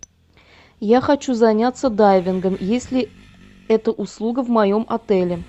я хочу заняться дайвингом есть ли эта услуга в моем отеле